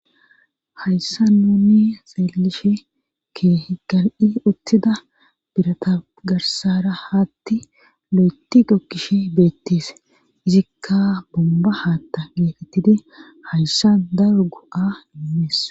Hayssa nuni xeelishe kehi gal''i uttida birata garsara haatti lo'eti gokkishe beettis izikka bomba haatta geekettidi hayssa daro go'a immees.